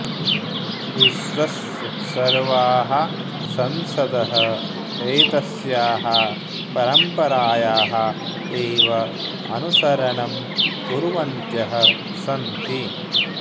विश्वस्य सर्वाः संसदः एतस्याः परम्परायाः एव अनुसरणं कुर्वन्त्यः सन्ति